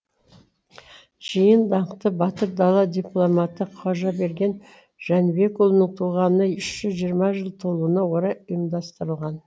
жиын даңқты батыр дала дипломаты қожаберген жәнібекұлының туғанына үш жүз жиырма жыл толуына орай ұйымдастырылған